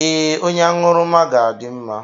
Ee, onye aṅụrụma ga-adị mma.